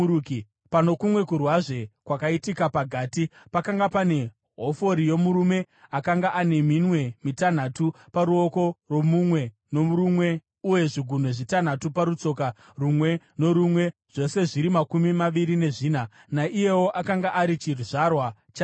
Pano kumwe kurwazve, kwakaitika paGati, pakanga pane hofori yomurume akanga ane minwe mitanhatu paruoko rumwe norumwe uye zvigunwe zvitanhatu parutsoka rumwe norumwe, zvose zviri makumi maviri nezvina. Naiyewo akanga ari chizvarwa chaRafa.